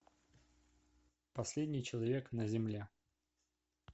последний человек на земле